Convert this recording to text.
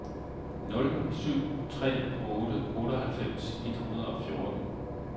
nul syv tre otte otteoghalvfems et hundrede og fjorten